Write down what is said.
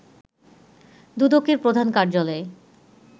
দুদকের প্রধান কার্যালয়ে